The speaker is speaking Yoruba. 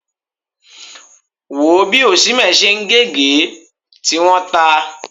Wò ó bí Osimhen ṣe ń gé ègé, tí wọ́n ta!